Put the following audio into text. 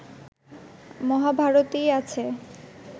মহাভারতেই আছে